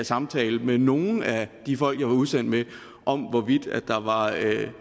samtale med nogen af de folk jeg var udsendt med om hvorvidt der var